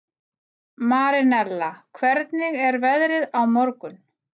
Marinella, hvernig er veðrið á morgun?